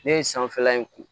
Ne ye sanfɛla in ko